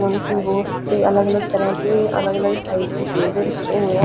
और इसमें बहुत से अलग-अलग तरह के अलग-अलग साइज़ के पेड़े रखे हुए है।